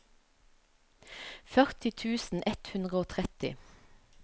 førti tusen ett hundre og tretti